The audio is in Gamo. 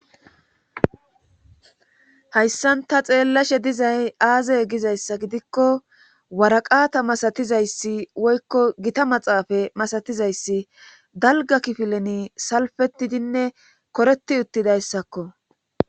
Hayssan ta xeellashe dizay aazey gizayssa gidikko waraqata masatizayssi woykko gita maxaafa masatizayssi dalga kifileni salfetidinne koreti uttidayssakko.